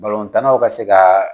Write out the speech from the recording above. tan naw ka se ka